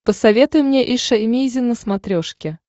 посоветуй мне эйша эмейзин на смотрешке